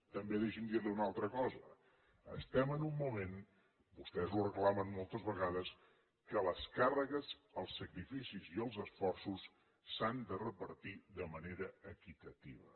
també deixi’m dir li una altra cosa estem en un moment vostès ho reclamen moltes vegades que les càrregues els sacrificis i els esforços s’han de repartir de manera equitativa